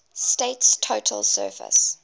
state's total surface